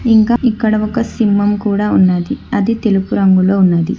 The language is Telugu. ఇంకా ఇక్కడ ఒక సింహం కూడా ఉన్నది అది తెలుపు రంగులో ఉన్నది.